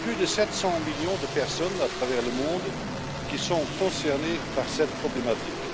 Plus de 700 millions de personnes à travers le monde sont concernées par cette problématique.